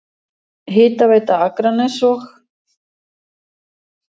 Hitaveita Akraness og